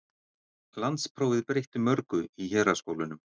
Landsprófið breytti mörgu í héraðsskólunum.